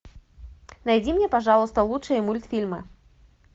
найди мне пожалуйста лучшие мультфильмы